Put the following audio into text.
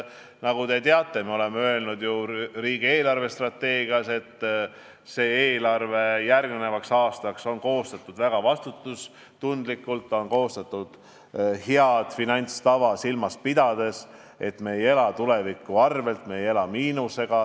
Nagu te teate, me oleme öelnud ju riigi eelarvestrateegias, et eelarve järgmiseks aastaks on koostatud väga vastutustundlikult, head finantstava silmas pidades, me ei ela tuleviku arvel, me ei ela miinuses.